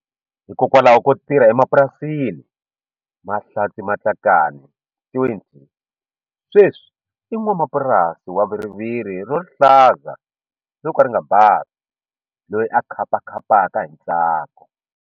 Hikokwalaho ko tirha emapurasini, Mahlatse Matlakane, 20, sweswi i n'wamapurasi wa viriviri ra rihlaza ro ka ri nga bavi loyi a khapakhapaka hi ntsako.